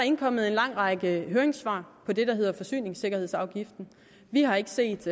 indkommet en lang række høringssvar på det der hedder forsyningssikkerhedsafgiften vi har ikke set